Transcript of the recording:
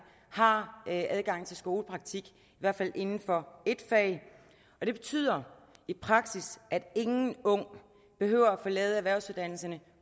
har man adgang til skolepraktik i hvert fald inden for ét fag og det betyder i praksis at ingen ung behøver at forlade en erhvervsuddannelse